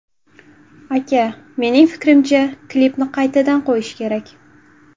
Aka, mening fikrimcha, klipni qaytadan qo‘yish kerak.